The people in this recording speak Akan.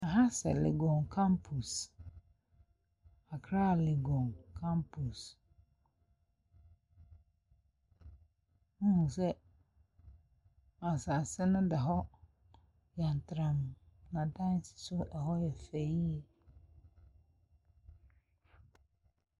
ℇha sɛ Legon campus. Accra Legon campus. Wohunu sɛ asase no da hɔ yantramm na dan si so, ɛhɔ yɛ fɛ yie.